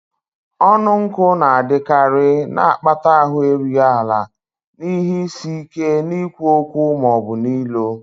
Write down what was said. Ọnụ nkụ na-adịkarị, na-akpata ahụ erughị ala na ihe isi ike n'ikwu okwu ma ọ bụ ilo.